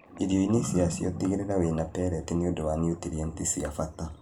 Irioinĩ ciacio, tigĩrĩra wĩna pellets nĩundũ wa niutrienti cia bata